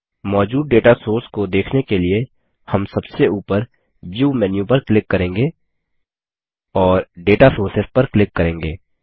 मौजूद data source को देखने के लिए हम सबसे ऊपर व्यू मेन्यू पर क्लिक करेंगे और दाता सोर्सेस पर क्लिक करेंगे